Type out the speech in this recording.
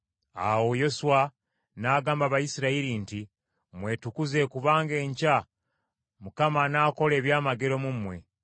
Awo Yoswa n’agamba Abayisirayiri nti, “Mwetukuze kubanga enkya Mukama anaakola ebyamagero mu mmwe.”